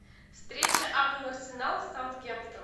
встреча апл арсенал саутгемптон